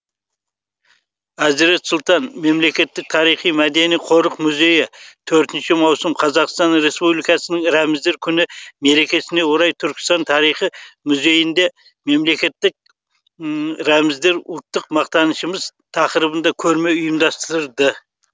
әзірет сұлтан мемлекеттік тарихи мәдени қорық музейі төртінші маусым қазақстан республикасының рәміздер күні мерекесіне орай түркістан тарихы музейінде мемлекеттік рәміздер ұлттық мақтанышымыз тақырыбында көрме ұйымдастырды